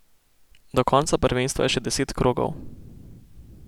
Do konca prvenstva je še deset krogov.